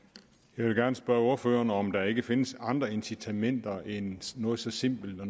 jeg vil gerne spørge ordføreren om der ikke findes andre incitamenter end noget så simpelt og